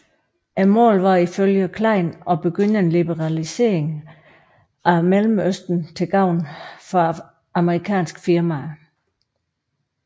Målet var ifølge Klein at begynde en liberalisering af Mellemøsten til gavn for amerikanske firmaer